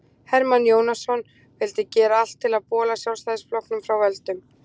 hermann jónasson vildi gera allt til að bola sjálfstæðisflokknum frá völdum